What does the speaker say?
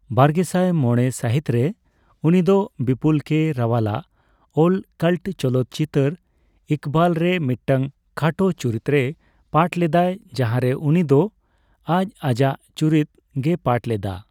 ᱵᱟᱨᱜᱮᱥᱟᱭ ᱢᱚᱲᱮ ᱥᱟᱹᱦᱤᱛ ᱨᱮ, ᱩᱱᱤᱫᱚ ᱵᱤᱯᱩᱞ ᱠᱮᱹ ᱨᱟᱣᱟᱞᱟᱜ ᱚᱞ ᱠᱟᱞᱴ ᱪᱚᱞᱚᱛ ᱪᱤᱛᱟᱹᱨ ᱤᱠᱵᱟᱞ ᱨᱮ ᱢᱤᱫᱴᱟᱝ ᱠᱷᱟᱴᱚ ᱪᱩᱨᱤᱛᱨᱮᱭ ᱯᱟᱴᱷ ᱞᱮᱫᱟᱭ ᱡᱟᱦᱟᱸᱨᱮ ᱩᱱᱤᱫᱚ ᱟᱡ ᱟᱡᱟᱜ ᱪᱩᱨᱤᱛ ᱜᱮᱭ ᱯᱟᱴᱷ ᱞᱮᱫᱟ ᱾